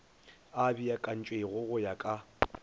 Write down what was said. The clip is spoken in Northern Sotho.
a beakantšwego go ya ka